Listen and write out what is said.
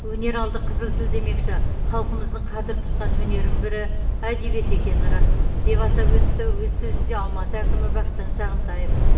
өнер алды қызыл тіл демекші халқымыздың қадір тұтқан өнерінің бірі әдебиет екені рас деп атап өтті өз сөзінде алматы әкімі бақытжан сағынтаев